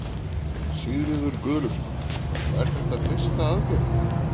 Sigríður Guðlaugsdóttir: Og er það fyrsta aðgerðin þín?